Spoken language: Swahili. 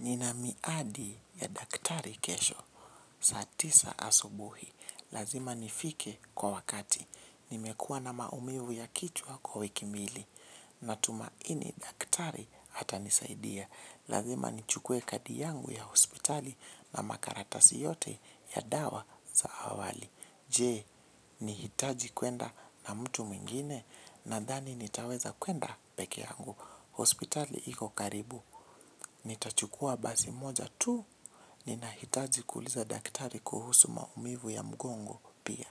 Nina miadi ya daktari kesho, saat isa asubuhi, lazima nifike kwa wakati, nimekua na maumivu ya kichwa kwa wiki mbili, natumaini daktari hatanisaidia, lazima nichukue kadi yangu ya hospitali na makaratasi yote ya dawa za awali. Je, nihitaji kwenda na mtu mwingine nadhani nitaweza kwenda peke yangu. Hospitali iko karibu, nitachukua basi moja tu, ninahitaji kuuliza daktari kuhusu maumivu ya mgongo pia.